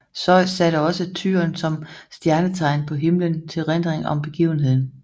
Zeus satte også tyren som stjernetegn på himmelen til erindring om begivenheden